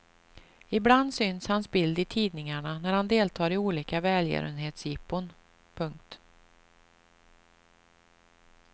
Ibland syns hans bild i tidningarna när han deltar i olika välgörenhetsjippon. punkt